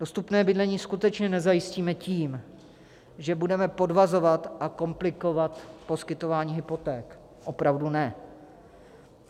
Dostupné bydlení skutečně nezajistíme tím, že budeme podvazovat a komplikovat poskytování hypoték, opravdu ne.